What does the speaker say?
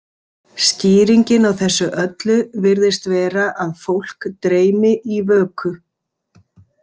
Skýringin á þessu öllu virðist vera að fólk dreymi í vöku.